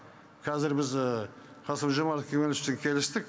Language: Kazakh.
қазір біз қасым жомарт кемеловичпен келістік